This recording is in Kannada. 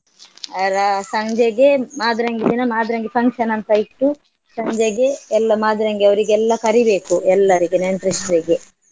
ಅರಾ ಸಂಜೆಗೆ ಮಾದ್ರೆಂಗಿ ದಿನ ಮಾದ್ರೆಂಗಿ function ಅಂತ ಇಟ್ಟು ಸಂಜೆಗೆ ಎಲ್ಲ ಮಾದ್ರೆಂಗಿ ಅವ್ರಿಗೆಲ್ಲ ಕರಿಬೇಕು ಎಲ್ಲರಿಗೆ ನೆಂಟ್ರಿಸ್ಟ್ರಿಗೆ.